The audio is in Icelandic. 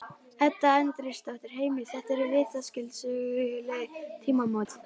Edda Andrésdóttir: Heimir, þetta eru vitaskuld söguleg tímamót?